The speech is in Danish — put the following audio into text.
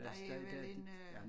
Der jo vel en øh